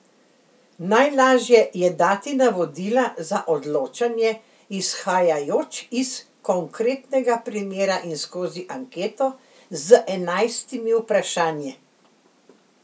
Najlažje je dati navodila za odločanje izhajajoč iz konkretnega primera in skozi anketo z enajstimi vprašanji.